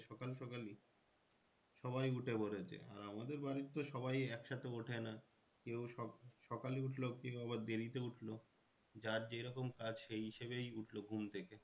সকাল সকালই সবাই উঠে পড়েছে আর আমাদের বাড়ির তো সবাই এক সাথে ওঠে না কেউ সকালে উঠলো কেউ আবার দেরিতে উঠলো যার যেরকম কাজ সেই হিসাবেই উঠলো ঘুম থেকে